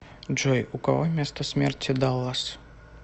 джой у кого место смерти даллас